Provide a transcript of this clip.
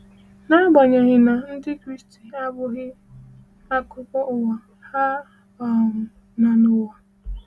N’agbanyeghị na Ndị Kraịst abụghị akụkụ ụwa, ha um nọ n’ụwa.